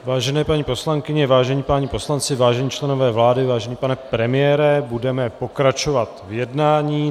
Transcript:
Vážené paní poslankyně, vážení páni poslanci, vážení členové vlády, vážený pane premiére, budeme pokračovat v jednání.